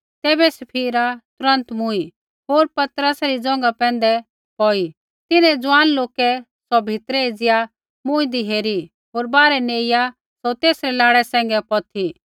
तैबै सफीरा तुरन्त मूँई होर पतरसा री ज़ोंघा पैंधै पौई तिन्हैं ज़ुआन लोकै सौ भीतरै एज़िया मूँईदी हेरी होर बाहरै नेइआ सौ तेसरै लाड़ै सैंघै पौथी